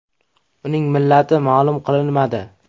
Uning millati ma’lum qilinmadi.